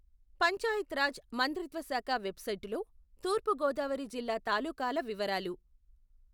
పంచాయత్ రాజ్ మంత్రిత్వ శాఖ వెబ్సైటులో తూర్పు గోదావరి జిల్లా తాలూకాల వివరాలు.